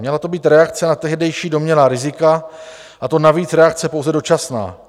Měla to být reakce na tehdejší domnělá rizika, a to navíc reakce pouze dočasná.